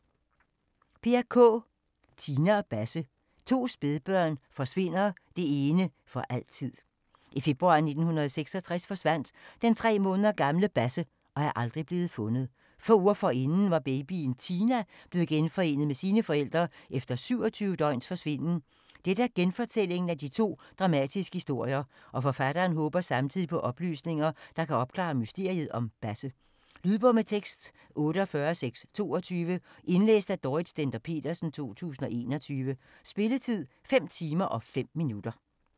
Kaae, Peer: Tina og Basse: to spædbørn forsvinder, det ene for altid I februar 1966 forsvandt den tre måneder gamle Basse og er aldrig blev fundet. Få uger forinden var babyen Tina blevet genforenet med sine forældre efter 27 døgns forsvinden. Dette er genfortællingen af de to dramatiske historier, og forfatteren håber samtidig på oplysninger, der kan opklare mysteriet om Basse. Lydbog med tekst 48622 Indlæst af Dorrit Stender-Petersen, 2021. Spilletid: 5 timer, 5 minutter.